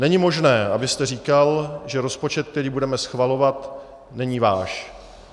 Není možné, abyste říkal, že rozpočet, který budeme schvalovat, není váš.